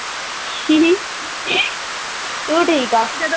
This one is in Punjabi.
ਤੂੰ ਠੀਕ ਆ